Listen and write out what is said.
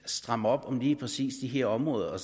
stramme op om lige præcis de områder og